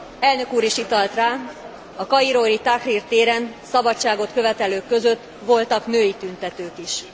Elnök úr is utalt rá, a kairói Tahrir téren szabadságot követelők között voltak női tüntetők is.